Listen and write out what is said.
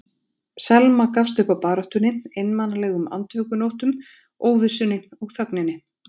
Selma gafst upp á baráttunni, einmanalegum andvökunóttum, óvissunni og þögninni.